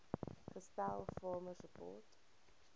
gestel farmer support